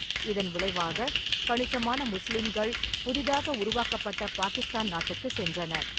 இதன் விளைவாக, கணிசமான முஸ்லிம்கள் புதிதாக உருவாக்கப்பட்ட பாகிஸ்தான் நாட்டுக்குச் சென்றனர்.